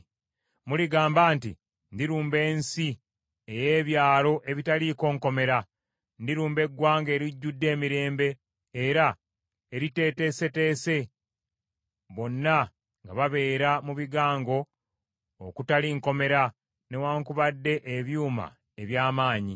Muligamba nti, “Ndirumba ensi ey’ebyalo ebitaliiko nkomera, ndirumba eggwanga erijjudde emirembe era eriteeteeseteese, bonna nga babeera mu bigango okutali nkomera newaakubadde ebyuma eby’amaanyi.